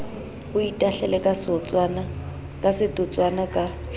o itahlele ka setotswana ka